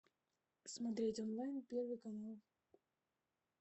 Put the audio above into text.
смотреть онлайн первый канал